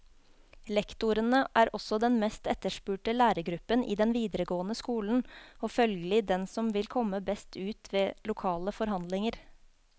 Lektorene er også den meste etterspurte lærergruppen i den videregående skolen og følgelig den som vil komme best ut ved lokale forhandlinger.